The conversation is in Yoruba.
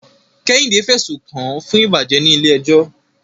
Kehinde fẹ̀sùn kàn án fún ìbàjẹ́ ní ilé ẹjọ́.